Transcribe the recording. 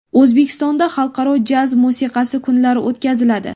O‘zbekistonda xalqaro jaz musiqasi kunlari o‘tkaziladi.